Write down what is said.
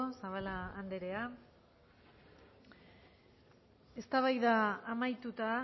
zabala anderea eztabaida amaituta